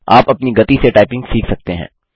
आप अपनी गति से टाइपिंग सीख सकते हैं